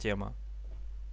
тема